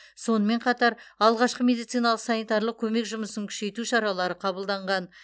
сонымен қатар алғашқы медициналық санитарлық көмек жұмысын күшейту шаралары қабылданған